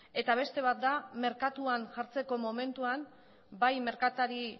eta beste bat da merkatuan jartzeko momentuan bai merkatari